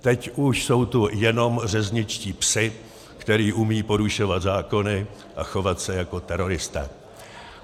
Teď už jsou tu jenom řezničtí psi, kteří umějí porušovat zákony a chovat se jako teroristé.